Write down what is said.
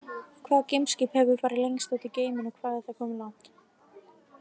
Hvaða geimskip hefur farið lengst út í geiminn og hvað er það komið langt?